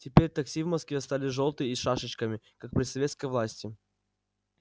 теперь такси в москве стали жёлтые и с шашечками как при советской власти